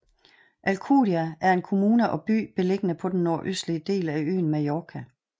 Alcúdia er en kommune og by beliggende på den nordøstlige del af øen Mallorca